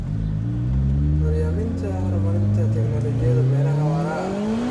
Curyaaminta horumarinta tignoolajiyada beeraha waara.